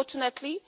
Unfortunately